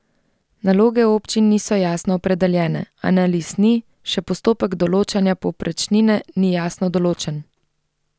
Naloge občin niso jasno opredeljene, analiz ni, še postopek določanja povprečnine ni jasno določen.